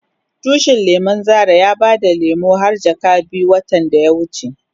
Tushin lemun Zara ya bada lemu har jaka biyu watan da ya wuce.